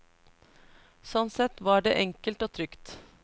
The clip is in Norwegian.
Sånn sett var det enkelt og trygt.